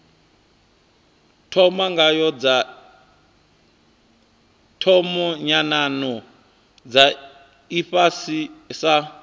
thoma nyanano dza ifhasi sa